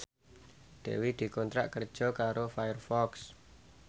Dewi dikontrak kerja karo Firefox